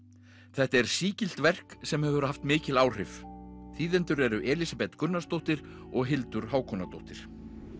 þetta er sígilt verk sem hefur haft mikil áhrif þýðendur eru Elísabet Gunnarsdóttir og Hildur Hákonardóttir